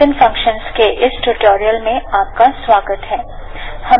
lt৫ ৬ second এর জন্য চালানো যাক gt